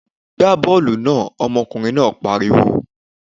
Gbá bọ́ọ̀lù náà! Ọmọkùnrin náà pariwo.